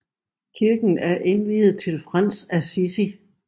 Kirken er indviet til Frans af Assisi